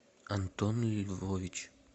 антон львович